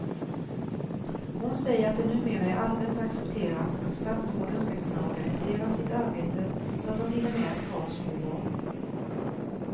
Hon säger att det numera är allmänt accepterat att statsråden ska kunna organisera sitt arbete så att de hinner med att ha små barn.